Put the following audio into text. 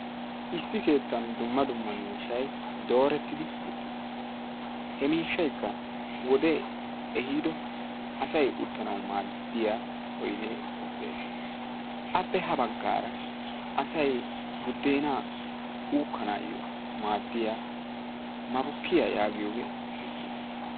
Issi keettan dumma dumma miishsay doorettidi uttis. ha miishshaykka asay uttanawu maaddiya oydee de'ees. appe ha bagaara asay budeenaa uukkanaayo madiya mabukee uttiis.